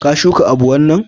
ka shuka abu wanna?